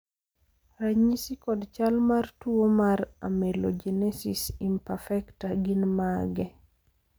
ranyisi kod chal mar tuo mar amelogenesis imperfecta gin mage?